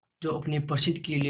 जो अपने प्रसिद्ध किले और